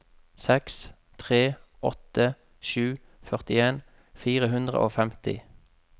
seks tre åtte sju førtien fire hundre og femti